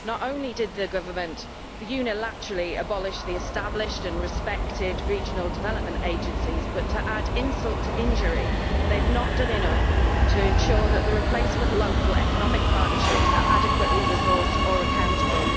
Not only did the government unilaterally abolish the established and respected regional development agencies but, to add insult to injury, they have not done enough to ensure that the replacement local economic partnerships are adequately resourced or accountable.